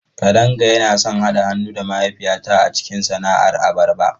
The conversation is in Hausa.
Kadanga yana son haɗa hannu da mahaifiyata a cikin sana'ar abarba.